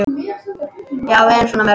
Já, við erum svo mörg.